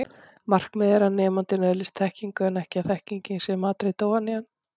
Markmiðið er að nemandinn öðlist þekkingu en ekki að þekkingin sé matreidd ofan í hann.